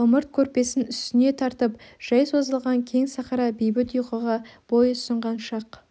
ымырт көрпесін үстіне тартып жай созылған кең сахара бейбіт ұйқыға бой ұсынған шақ